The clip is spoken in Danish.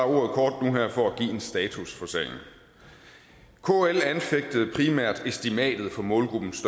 og her for at give en status på sagen kl anfægtede primært estimater på målgruppens